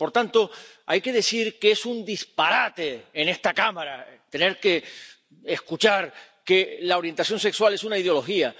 Por tanto, hay que decir que es un disparate ―en esta Cámara― tener que escuchar que la orientación sexual es una ideología.